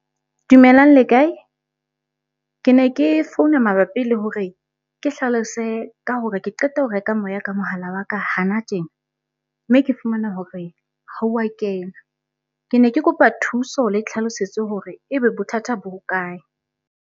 Dumelang le kae? Ke ne ke founa mabapi le hore ke hlalose ka hore ke qeta ho reka moya ka mohala wa ka hana tjena, mme ke fumana hore ha wa kena. Ke ne ke kopa thuso le tlhalosetso hore ebe bothata bo hokae?